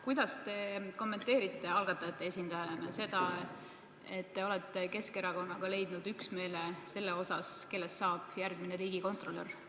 Kuidas te kommenteerite algatajate esindajana seda, et te olete Keskerakonnaga leidnud üksmeele selles osas, kellest saab järgmine riigikontrolör?